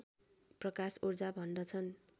प्रकाश ऊर्जा भन्दछन्